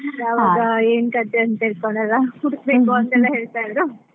ಯಾವಾಗ ಏನು ಕಥೆ ಅಂತ ಹೇಳ್ಕೊಂಡೆಲ್ಲ, ಹುಡುಕ್ಬೇಕು ಅಂತೆಲ್ಲ ಹೇಳ್ತಾ ಇದ್ರು.